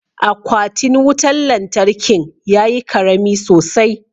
Aquatin wutan lantarkin ya yi karami sosai.